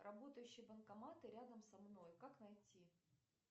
работающие банкоматы рядом со мной как найти